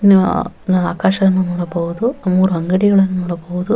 ನ್ ನ ಆಕಾಶವನ್ನು ನೋಡಬಹುದು ಮೂರೂ ಅಂಗಡಿಗಳನ್ನು ನೋಡಬಹುದು --